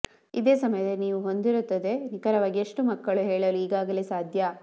ಇದೇ ಸಮಯದಲ್ಲಿ ನೀವು ಹೊಂದಿರುತ್ತದೆ ನಿಖರವಾಗಿ ಎಷ್ಟು ಮಕ್ಕಳು ಹೇಳಲು ಈಗಾಗಲೇ ಸಾಧ್ಯ